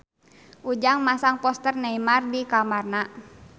Ujang masang poster Neymar di kamarna